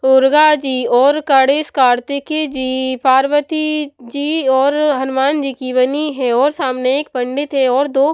उर्गा जी और कणेश कार्तिक जी पार्वती जी और हनुमान जी की बनी है और सामने एक पंडित है और दो--